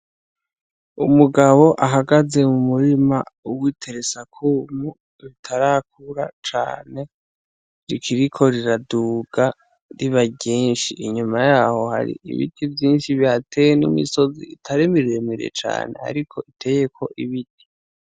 Umugabo ahagaze mu murima uwitere sakumu bitarakura cane rikiriko riraduga riba genshi inyuma yaho hari ibiti vyinshi vyateye n'umoisozi itarema iremere cane, ariko iteyeko ibiti.